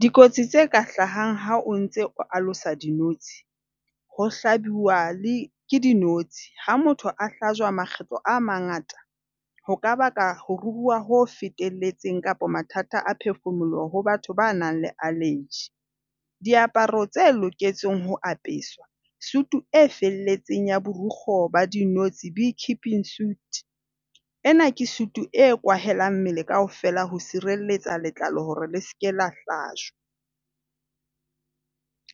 Dikotsi tse ka hlahang ha o ntse o alosa dinotsi, ho hlabilwa ke dinotshi. Ha motho a hlajwa makgetlo a mangata ho ka baka ho ruruha ho fetelletseng kapa mathata a phefumoloho ho batho ba nang le allergy. Diaparo tse loketseng ho apeswa. Suit e felletseng ya borikgwe ba dinotsi. Bee keeping suit. Ena ke suit e kwahelang mmele kaofela ho sireletsa letlalo hore le seka la hlajwa.